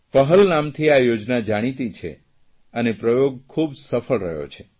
પહેલ નામથી આ યોજના જાણીતી છે અને પ્રયોગ ખૂબ સફળ રહ્યો છો